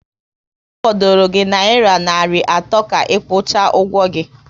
Ọ fọdụrụ gi nayira narị atọ ka ikwucha ụgwọ gị